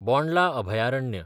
बोंडला अभयारण्य